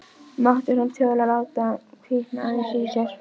Dútlandi við okkur eins og dúkkur.